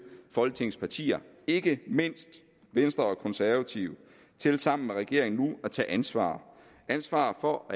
folketingets partier ikke mindst venstre og konservative til sammen med regeringen nu at tage ansvar ansvar for